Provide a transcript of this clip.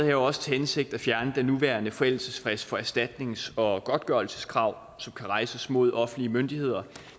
jo også til hensigt at fjerne den nuværende forældelsesfrist for erstatnings og godtgørelseskrav som kan rejses mod offentlige myndigheder